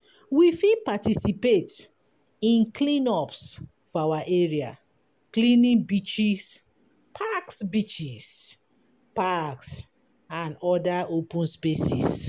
We fit participate in clean ups for our area; cleaning beaches, parks beaches, parks and oda open spaces